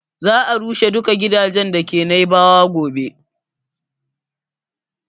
Za a rushe duka gidajen da ke Naibawa gobe